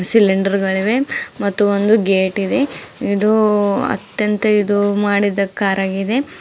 Cylinder ಗಳಿವೆ ಮತ್ತು ಒಂದು ಗೇಟ್ ಇದೆ ಇದು ಅತ್ಯಂತ ಇದು ಮಾಡಿದ ಕಾರ್ ಆಗಿದೆ.